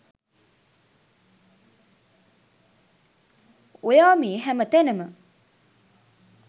ඔයා මේ හැම තැනම